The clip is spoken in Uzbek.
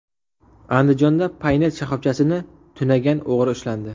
Andijonda Paynet shoxobchasini tunagan o‘g‘ri ushlandi.